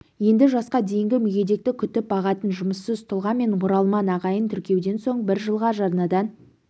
енді жасқа дейінгі мүгедекті күтіп бағатын жұмыссыз тұлға мен оралман ағайын тіркеуден соң бір жылға жарнадан